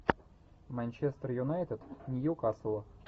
манчестер юнайтед ньюкасл